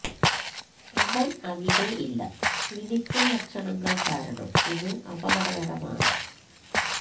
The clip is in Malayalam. അവൻ അവിടെ ഇല്ല ക്ലിനിക്കൽ ലക്ഷണങ്ങൾ കാരണം ഇത് അപകടകരമാണ്